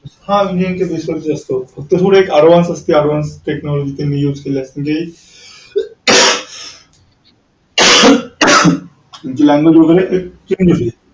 हा engineering base वरच असतो language वगैरे change होते.